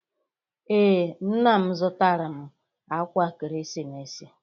Ee, nna m zụtara m akwa ekeresimesi.